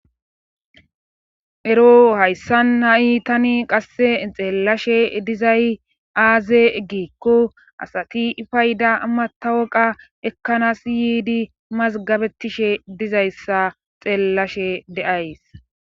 ero hayssan ha7i tani qasse xeellashe dizay aaze egikko asati fayda matawoqa ekkanas yiidi mazgabetishe dizayssa xeellashe de'ays